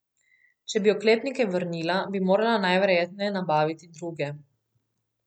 Če bi oklepnike vrnila, bi morala najverjetneje nabaviti druge.